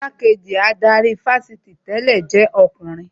Igbá-kejì adarí ifásitì tẹ̀lẹ́ jẹ́ ọkùnrin